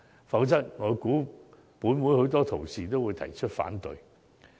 否則，我估計本會多位同事也會提出反對。